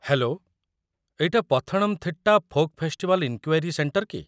Hello, ଏଇଟା Pathanamthitta folk festival enquiry centre କି?